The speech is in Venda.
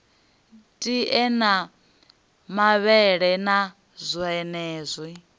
tie na mavhele na zwonezwi